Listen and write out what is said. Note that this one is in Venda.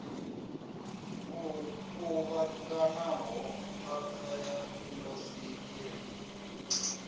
o kuvhanganaho phakha ya indasiṱiri